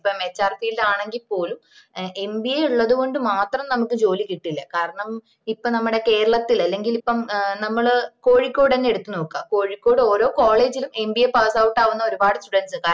ഇപ്പം hrfield ആണങ്കില് പോലും mba ഉള്ളതോണ്ട്‌ മാത്രം നമ്മക്ക് ജോലി കിട്ടില്ല കാരണം ഇപ്പൊ നമ്മട കേരളത്തില് അല്ലെങ്കില് ഇപ്പം നമ്മള് കോഴിക്കോട് ന്നേ എടുത്തു നോക്ക കോഴിക്കോട് ഓരോ college ലും mba passout ആവുന്ന ഒരുപാട് students ഉണ്ട്